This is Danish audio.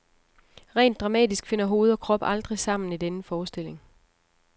Rent dramatisk finder hoved og krop aldrig sammen i denne forestilling.